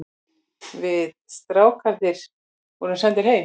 Við strákarnir vorum sendir heim.